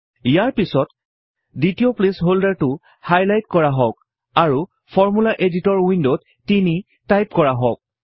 ইয়াৰ পিছত দ্বিতীয় প্লেচ হল্ডাৰটো হাইলাইট কৰা হোঁক আৰু ফৰ্মূলা এডিটৰ উইন্ডত 3 টাইপ কৰক